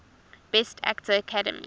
best actor academy